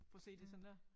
Prøv at se det sådan der